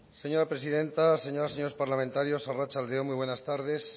señora presidenta señores y señoras parlamentarias arratsalde on muy buenas tardes